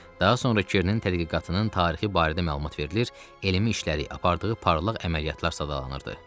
Daha sonra Kernin tədqiqatının tarixi barədə məlumat verilir, elmi işləri, apardığı parlaq əməliyyatlar sadalanırdı.